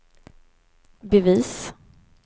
bevis